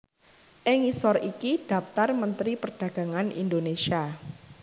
Ing ngisor iki dhaptar Mentri Perdagangan Indonésia